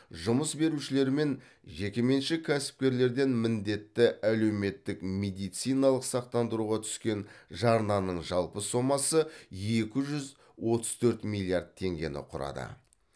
жұмыс берушілер мен жекеменшік кәсіпкерлерден міндетті әлеуметтік медициналық сақтандыруға түскен жарнаның жалпы сомасы екі жүз отыз төрт миллиард теңгені құрады